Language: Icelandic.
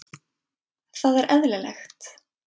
Það er eðlilegt.